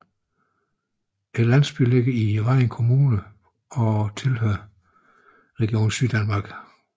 Landsbyen ligger i Vejen Kommune og tilhører Region Syddanmark